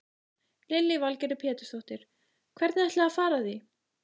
Lillý Valgerður Pétursdóttir: Hvernig ætlið þið að fara að því?